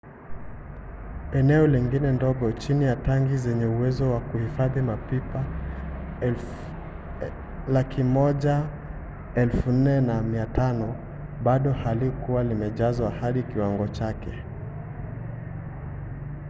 eneo lingine ndogo chini ya tangi zenye uwezo wa kuhifadhi mapipa 104,500 bado halikuwa limejazwa hadi kiwango chake